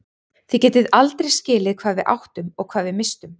Þið getið aldrei skilið hvað við áttum og hvað við misstum.